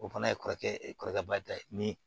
O fana ye kɔrɔkɛ kɔrɔkɛba ta ye ni